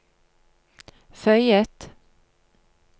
føyet